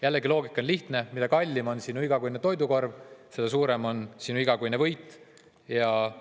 Jällegi, loogika on lihtne: mida kallim on sinu igakuine toidukorv, seda suurem oleks sinu igakuine võit.